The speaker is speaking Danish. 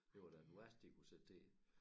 Det var da den værste de kunne sætte til det